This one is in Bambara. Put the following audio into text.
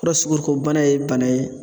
Purɔsukoriko bana ye bana ye